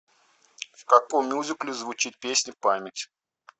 в каком мюзикле звучит песня память